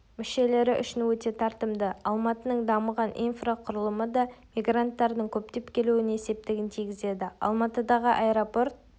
мүшелері үшін өте тартымды алматының дамыған инфрақұрылымы да мигранттардың көптеп келуіне септігін тигізеді алматыдағы аэропорт